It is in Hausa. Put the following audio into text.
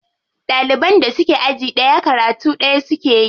Ɗaliban da suke aji ɗaya karatu ɗaya suke yi.